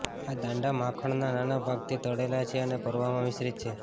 આ દાંડા માખણના નાના ભાગથી તળેલા છે અને ભરવા માં મિશ્રિત છે